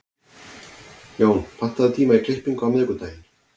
Jón, pantaðu tíma í klippingu á miðvikudaginn.